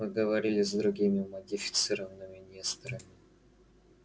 вы говорили с другими модифицированными несторами